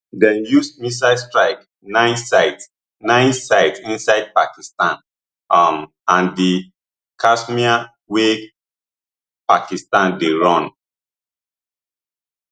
dem use missiles strike nine sites nine sites inside pakistan um and di kashmir wey pakistan dey run